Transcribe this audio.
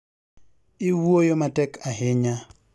iwuoyo matek ahinya